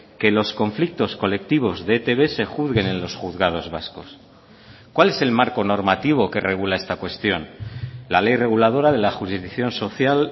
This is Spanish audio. que los conflictos colectivos de etb se juzguen en los juzgados vascos cuál es el marco normativo que regula esta cuestión la ley reguladora de la jurisdicción social